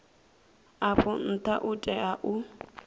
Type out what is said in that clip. afho ntha u tea u